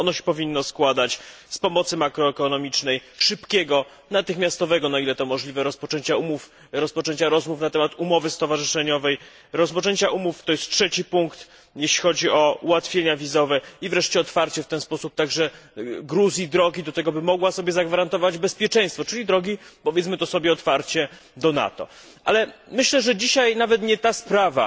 Powinno się ono składać z pomocy makroekonomicznej, szybkiego, natychmiastowego, na ile to możliwe, rozpoczęcia rozmów na temat umowy stowarzyszeniowej, rozpoczęcia rozmów to jest trzeci punkt w sprawie ułatwień wizowych i wreszcie otwarcie w ten sposób także Gruzji drogi do tego, by mogła sobie zagwarantować bezpieczeństwo, czyli drogi powiedzmy otwarcie do NATO. Ale myślę, że dzisiaj nawet nie ta sprawa